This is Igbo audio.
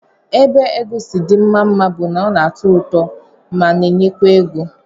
Ebe egwu si dị mma mma bụ na ọ na-atọ ụtọ ma na-enyekwa ego